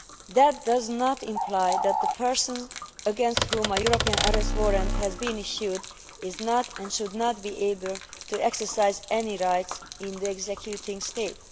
That does not imply that the person against whom a European Arrest Warrant has been issued is not, and should not, be able to exercise any rights in the executing state.